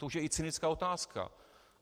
To už je i cynická otázka.